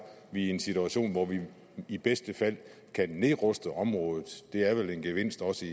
vi i en situation hvor vi i bedste fald kan nedruste området der er vel en gevinst også